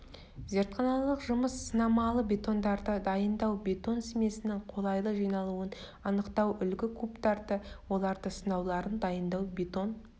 зертханалық жұмыс сынамалы бетондарды дайындау бетон смесінің қолайлы жиналуын анықтау үлгі кубтарды олардың сынауларын дайындау бетон